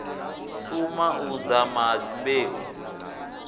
suma u dzama ha dyambeu